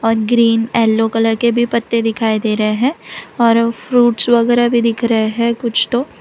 Green yellow colour के भी पत्ते दिखाई दे रहे हैं और फ्रूट्स वगैरा भी दिख रहे हैं कुछ तो।